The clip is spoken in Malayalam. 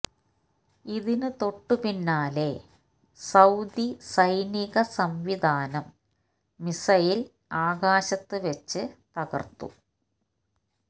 ഇതിന് തൊട്ടു പിന്നാലെ സൌദി സൈനിക സംവിധാനം മിസൈല് ആകാശത്ത് വെച്ച് തകര്ത്തു